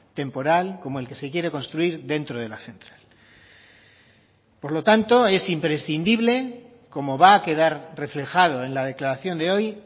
temporal como el que se quiere construir dentro de la central por lo tanto es imprescindible como va a quedar reflejado en la declaración de hoy